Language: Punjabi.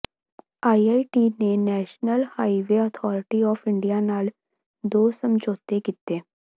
ਆਈਆਈਟੀ ਨੇ National Highway Authority of India ਨਾਲ ਦੋ ਸਮਝੌਤੇ ਕੀਤੇ